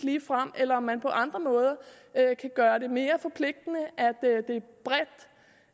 eller om man på andre måder kan gøre det mere forpligtende